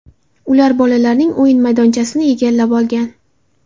Ular bolalarning o‘yin maydonchasini egallab olgan.